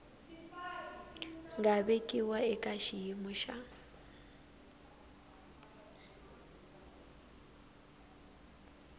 nga vekiwa eka xiyimo xa